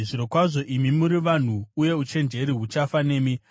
“Zvirokwazvo imi muri vanhu, uye uchenjeri huchafa nemi!